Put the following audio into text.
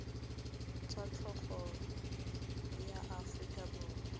tsa tlhago la aforika borwa